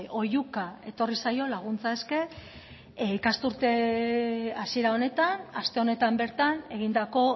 oihuka etorri zaio laguntza eske ikasturte hasiera honetan aste honetan bertan egindako